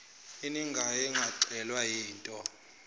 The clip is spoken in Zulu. eningayo yenganyelwa yinto